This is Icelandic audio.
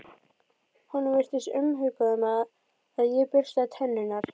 Honum virtist umhugað um að ég burstaði tennurnar.